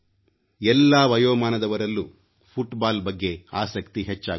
ಎಲ್ಲಾ ವಯೋಮಾನದವರಲ್ಲೂ ಫುಟ್ ಬಾಲ್ನ ಬಗ್ಗೆ ಆಸಕ್ತಿ ಹೆಚ್ಚಾಗುತ್ತದೆ